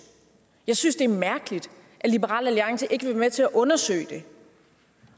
jeg synes det er mærkeligt at liberal alliance ikke vil være med til at undersøge det